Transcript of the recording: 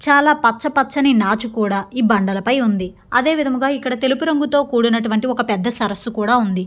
చాలా పచ్చ పచ్చని నాచు కూడా ఈ బండలపై ఉంది. అదేవిధంగా ఇక్కడ తెలుపు రంగుతో కూడినటువంటి ఒక పెద్ద సరస్సు కూడా ఉంది.